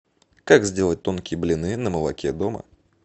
как сделать тонкие блины на молоке дома